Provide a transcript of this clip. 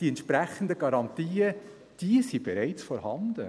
Die entsprechenden Garantien sind bereits vorhanden.